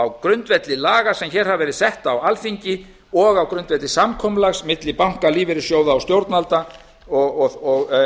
á grundvelli laga sem hér hafa verið sett á alþingi og á grundvelli samkomulags milli banka lífeyrissjóða og stjórnvalda